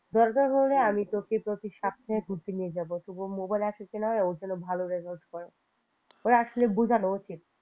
দরকার হলে আমি তোকে প্রত্যেক সপ্তাহে ঘুরতে নিয়ে যাব তবুও mobile আসক্তি নয় ও যেন ভালো result করে ওরে আসলে বোঝানো উচিত